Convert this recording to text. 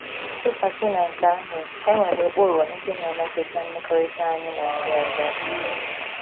Tụkwasị na nke ahụ, e nwere ụkpụrụ ndị na - emetụta mmekọrịta anyị na ndị ọzọ.